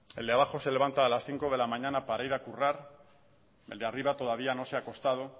el de abajo se levanta a las cinco de la mañana para ir a currar el de arriba todavía no se ha acostado